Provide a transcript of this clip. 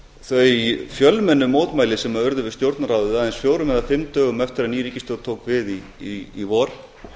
þau fjölmennu mótmæli sem urðu við stjórnarráðið aðeins fjórum eða fimm dögum eftir að ný ríkisstjórn tók við í vor